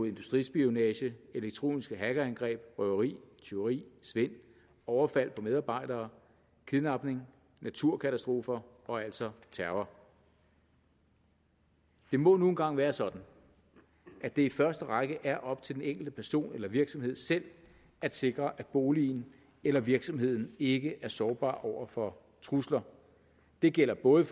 industrispionage elektroniske hackerangreb røveri tyveri svindel overfald på medarbejdere kidnapning naturkatastrofer og altså terror det må nu en gang være sådan at det i første række er op til den enkelte person eller virksomhed selv at sikre at boligen eller virksomheden ikke er sårbar over for trusler det gælder både